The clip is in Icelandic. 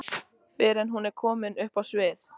fyrr en hún er komin upp á svið.